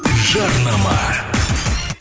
жарнама